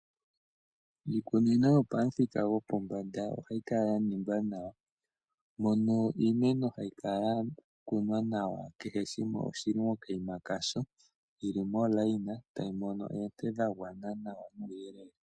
Iikunino yo pamuthika gwopombanda ohayi kala yaningwa nawa mono iimeno hayi kala ya kunwa nawa kehe shimwe oshina okanima kasho dhi li momukweyo tadhi mono ooonet dhawana nawa.